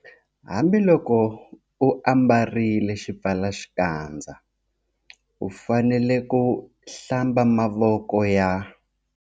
Hambiloko u ambarile xipfalaxikandza u fanele ku, Hlamba mavoko ya.